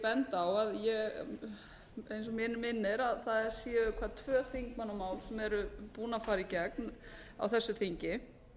benda á að mig minnir að það séu tvö þingmannamál búin að fara í gegn á þessu þingi